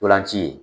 Ntolan ci